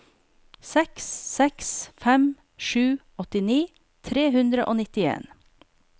seks seks fem sju åttini tre hundre og nittien